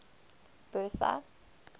bertha